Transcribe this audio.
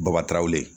Bɔbati ye